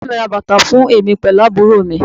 Bàbá mi ra bàtà fún èmi pẹ̀lú àbúrò mi